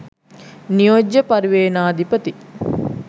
නියෝජ්‍ය පරිවේනාධිපති